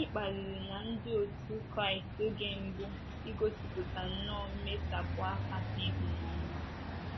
Gịnị kpaliri na ndị otú Kraịst oge mbụ igosipụta nnọọ mmesapụ aka na ịhụnanya?